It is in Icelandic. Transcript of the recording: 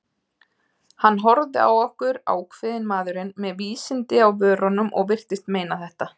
Hann horfði á okkur, ákveðinn maðurinn, með vísindin á vörunum- og virtist meina þetta.